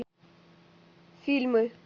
фильмы